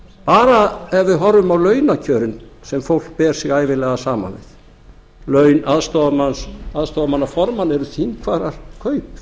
bara ef við horfum á launakjörin sem fólk ber sig ævinlega saman við laun aðstoðarmanna formanna eru þingfararkaup fimm